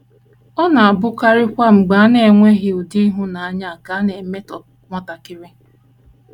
Ọ na - abụkarịkwa mgbe a na - enweghị ụdị ịhụnanya a ka a na - emetọ nwatakịrị.